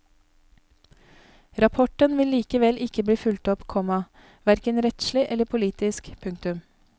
Rapporten vil likevel ikke bli fulgt opp, komma hverken rettslig eller politisk. punktum